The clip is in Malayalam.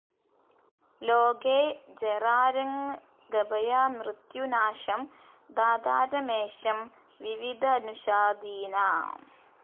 ലോകേ ജെറാര്ങ്ഗഭയാമൃത്യുനാശം ധാതാരമേശം വിവിധനുഷാധീനാം